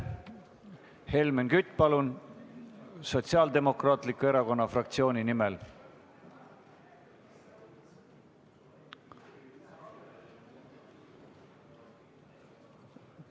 Helmen Kütt Sotsiaaldemokraatliku Erakonna fraktsiooni nimel, palun!